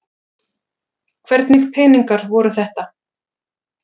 Hvernig peningar voru þetta?